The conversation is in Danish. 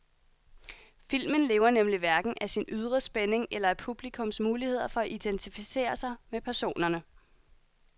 Filmen lever nemlig hverken af sin ydre spænding eller af publikums muligheder for at identificere sig med personerne.